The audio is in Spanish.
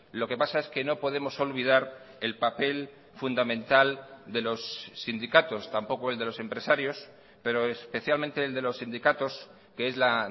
lo que pasa es que no podemos olvidar el papel fundamental de los sindicatos tampoco el de los empresarios pero especialmente el de los sindicatos que es la